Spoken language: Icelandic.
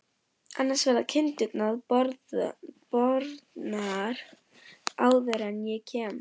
Annars verða allar kindurnar bornar áður en ég kem.